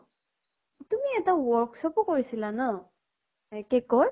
তুমি এটা workshop ও কৰিছিলা ন ? এ cake ৰ ?